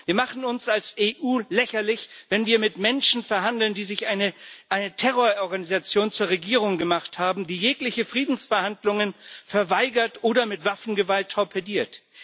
Wir machen uns als EU lächerlich, wenn wir mit Menschen verhandeln, die sich eine Terrororganisation zur Regierung gemacht haben, die jegliche Friedensverhandlungen verweigert oder mit Waffengewalt torpediert.